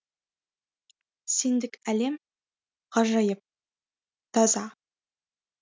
сендік әлем ғажайып таза